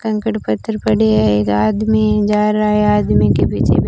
कंकड़ पत्थर पड़े हैं एक आदमी जा रहा है आदमी के पीछे--